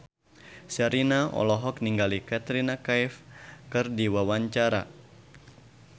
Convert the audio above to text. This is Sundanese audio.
Sherina olohok ningali Katrina Kaif keur diwawancara